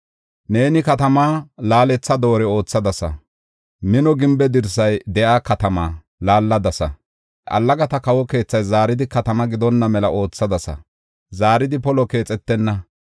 Neeni katamaa laaletha doore oothadasa; mino gimbe dirsay de7iya katamaa laalladasa. Allagata kawo keethay zaaridi katama gidonna mela oothadasa; zaaridi polo keexetenna.